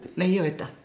ég veit það